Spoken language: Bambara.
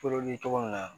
cogo min na